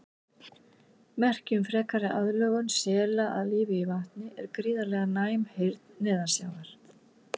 Merki um frekari aðlögun sela að lífi í vatni er gríðarlega næm heyrn neðansjávar.